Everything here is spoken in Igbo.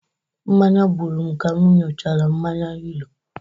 Mmanya gburu m ka m ñyuchara mmanya hero